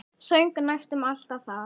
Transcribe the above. Söng næstum alltaf það lag.